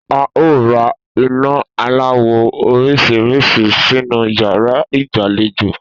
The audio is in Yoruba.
A óò ra iná aláwò̩ orís̩rís̩i sínú yàrá ìgbàlejò wa